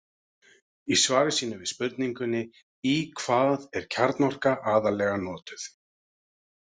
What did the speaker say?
Í svari sínu við spurningunni Í hvað er kjarnorka aðallega notuð?